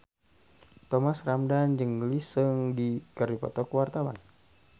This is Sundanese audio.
Thomas Ramdhan jeung Lee Seung Gi keur dipoto ku wartawan